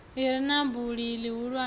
i re na buli ḽihulwane